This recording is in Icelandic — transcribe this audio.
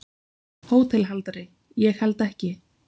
HÓTELHALDARI: Ég held ekki.